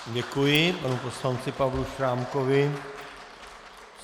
Děkuji panu poslanci Pavlu Šrámkovi.